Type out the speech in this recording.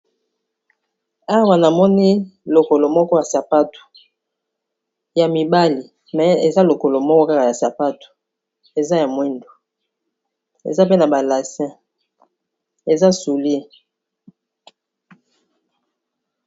awa naamoni lokolo moko ya sapato ya mibali me eza lokolo moko kaka ya sapato eza ya mwindu eza pe na balasin eza soulie